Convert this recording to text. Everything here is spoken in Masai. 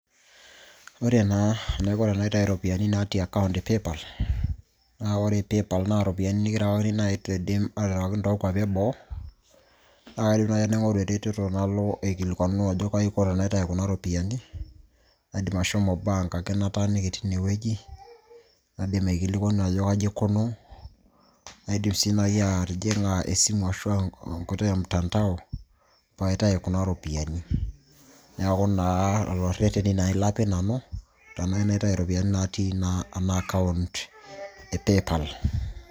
ore naa enaiko tenaitayu iropiyiani natii akaunt e paypal na ore paypal naa iropiyiani nikirewakini naaji toonkuapi eboo naa kaidim naaji naing'oru eretoto nalo aikilikuanu ajo kaji aiko tenaitayu kuna ropiani aidim ashomo bank ake nataaniki tinewueji naidim aikilikuanu ajo kaji aikunuw naidim sii naji atijing'a esimu ashua enkoitoi e mtandao pee aitayu kuna ropiyiani neeku naa lelo irreteni naji lapik nanu tenayieu naitayu iropiyiani natii naa ena akaunt e paypal.